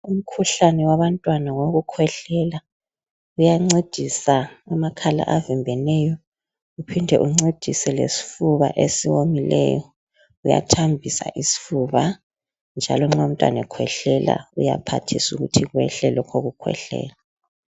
Umkhuhlane wabantwana wokukhwehlela uyancedisa amakhala avimbeneyo uphinde uncedise lesifuba esiwomileyo uyathambisa isifuba njalo nxa umntwana ekhwehlela kuyaphathisa ukuthi kwehle lokhu ukukhwehlela.